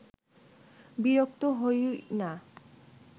বিরক্ত হই না